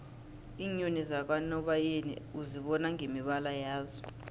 iinyoni zakanobayeni uzibona ngemibala yazo